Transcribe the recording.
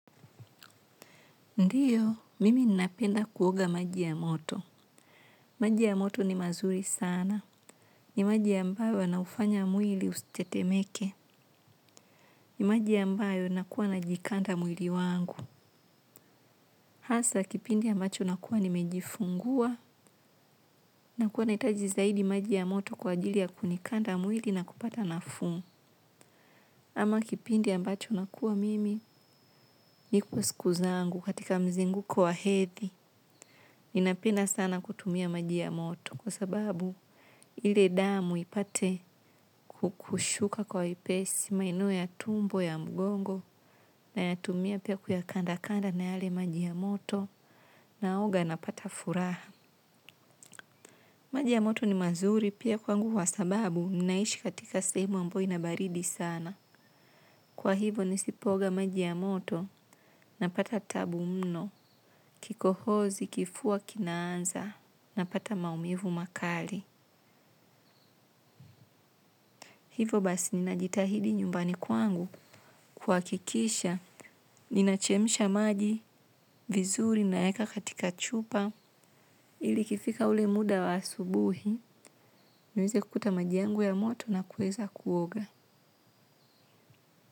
Ndiyo, mimi ninapenda kuoga maji ya moto. Majia moto ni mazuri sana. Ni maji ambayo yana ufanya mwili usitetemeke. Ni maji ambayo nakuwa na jikanda mwili wangu. Hasa kipindi ambacho nakuwa nimejifungua nakuwa nahitaji zaidi maji ya moto kwa ajili ya kunikanda mwili na kupata nafuu. Ama kipindi ambacho nakuwa mimi nipo siku zangu katika mzunguko wa hedhi. Ninapenda sana kutumia maji ya moto kwa sababu ile damu ipate kukushuka kwa ipesi maeneo ya tumbo ya mgongo na yatumia pia kuyakanda kanda na yale maji ya moto naoga na pata furaha. Maji ya moto ni mazuri pia kwangu wa sababu ninaishi katika sehemu ambayo inabaridi sana. Kwa hivo nisipoga maji ya moto na pata tabu mno kikohozi kifua kinanza na pata maumivu makali. Hivo basi ninajitahidi nyumbani kwangu kwakikisha ninachemisha maji vizuri na eka katika chupa ili kifika ule muda wa asubuhi. Nahisi kukuta maji yangu ya moto, na kuweza kuoga.